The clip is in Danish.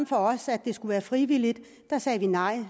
for os at det skulle være frivilligt sagde vi nej